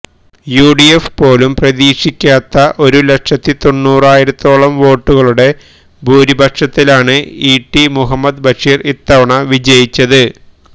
UDF പോലും പ്രതാക്ഷിക്കാത്ത ഒരു ലക്ഷത്തി തൊണ്ണൂറായിരത്തോളം വോട്ടുകളുടെ ഭൂരിപക്ഷത്തിലാണ് ഇടി മുഹമ്മദ് ബഷീര് ഇത്തവണ വിജയിച്ചത്